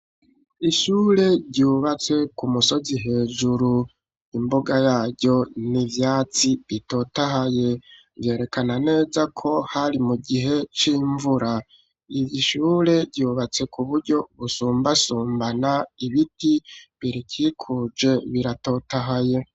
Ishure, ryubatse ku musozi hejuru, imbuga yaryo, ni ivyatsi bitotahaye; vyerekana neza ko, hari mu gihe c'imvura; iri shure, ryubatse ku buryo busumbasumbana, ibiti birikikuje, biratotahaye.